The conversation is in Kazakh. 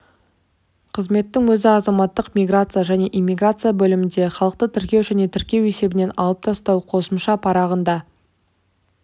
қызметтің өзі азаматтық миграция және иммиграция бөлімінде халықты тіркеу және тіркеу есебінен алып тастау қосымша парағында